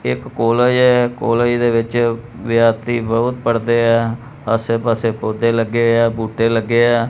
ਇੱਕ ਕੋਲੇਜ ਹੈ ਕੋਲੇਜ ਦੇ ਵਿੱਚ ਵਿਦਆਰਥੀ ਬਹੁਤ ਪੜ੍ਹਦੇ ਹਾਂ ਆਸੇ ਪਾੱਸੇ ਪੌਧੇ ਲੱਗੇ ਹੋਏਆ ਬੂਟੇ ਲੱਗੇ ਹਾਂ।